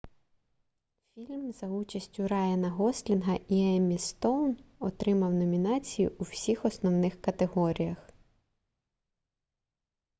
фільм за участю райана гослінга і еммі стоун отримав номінації у всіх основних категоріях